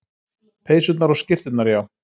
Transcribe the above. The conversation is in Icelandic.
Peysurnar og skyrturnar, já.